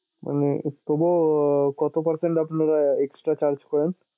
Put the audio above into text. মানে এর জন্যে কত percent আপ্নারা charge করেন?